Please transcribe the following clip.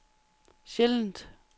sjældent